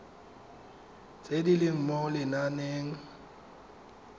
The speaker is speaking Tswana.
tse di leng mo lenaaneng